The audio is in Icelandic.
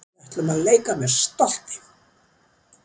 Við ætlum að leika með stolti